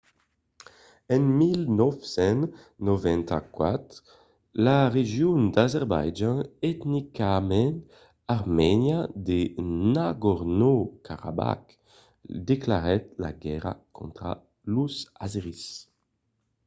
en 1994 la region d'azerbaitjan etnicament armènia de nagorno-karabakh declarèt la guèrra contra los azèris